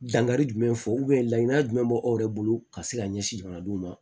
Dankari jumɛn fɔ laɲini jumɛn bɛ aw yɛrɛ bolo ka se ka ɲɛsin jamanadenw ma